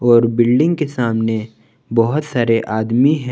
और बिल्डिंग के सामने बहुत सारे आदमी हैं।